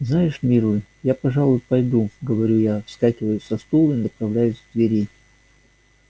знаешь милый я пожалуй пойду говорю я вскакиваю со стула и направляюсь к двери